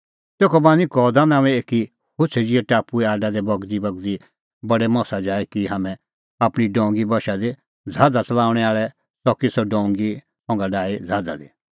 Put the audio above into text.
तेखअ बान्हीं कौदा नांओंए एकी होछ़ै ज़िहै टापुए आडा दी बगदीबगदी बडै मसा जाए की हाम्हैं आपणीं डोंगी बशा दी ज़हाज़ा च़लाऊंणैं आल़ै च़की सह डोंगी संघा डाही ज़हाज़ा दी